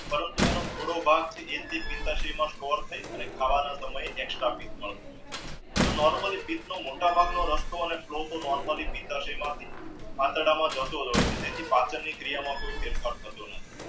પરંતુ એનો થયો ભાગ ખાવાના સમયે extra normally મોટા ભાગનો રસ્તો અને નોર્મલી આંતરડામાં જતો રહ્યો છે જેથી પાચનની ક્રિયા માં કોઈ ફેરફાર થતો નથી